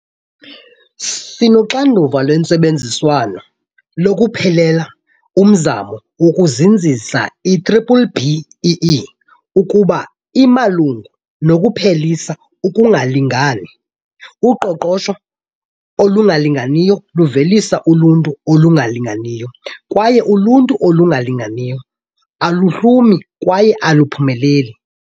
Sinoxanduva lwentsebenziswano lokuphelelela umzamo wokuzinzisa i-B-BBEE kuba imalunga nokuphelisa ukungalingani. Uqoqosho olungalinganiyo luvelisa uluntu olungalinganiyo, kwaye uluntu olungalinganiyo aluhlumi kwaye aluphumeleli.